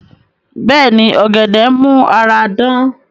Bẹ́ẹ̀ni, ọ̀gẹ̀dẹ̀ n mú ara dán